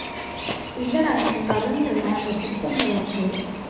இல்லடா அஹ் current இல்ல அங்க system ல work